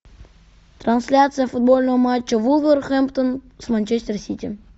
трансляция футбольного матча вулверхэмптон с манчестер сити